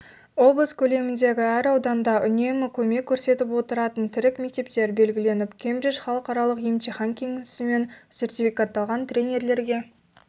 облыс көлеміндегі әр ауданда үнемі көмек көрсетіп отыратын тірек мектептер белгіленіп кембридж халықаралық емтихан кеңесімен сертификатталған тренерлерге